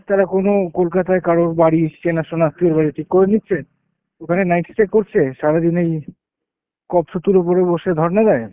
তারা কোনো কলকাতায় কারোর বাড়ি চেনাশোনা আত্মীয়র বাড়ি ঠিক করে নিচ্ছে, ওখানে night stay করছে, সারাদিনে এই সেতুর উপরে বসে ধর্না দেয়।